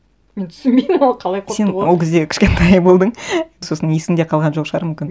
мен түсінбей ол қалай қорқытуға сен ол кезде кішкентай болдың сосын есіңде қалған жоқ шығар мүмкін